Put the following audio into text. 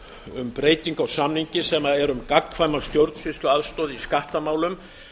um breytingu á samningi sem er um gagnkvæma stjórnsýsluaðstoð í skattamálum